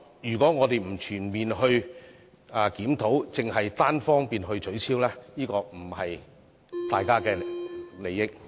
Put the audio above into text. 如果我們不全面檢討，而只是單方面取消對沖機制，並不符合市民大眾利益。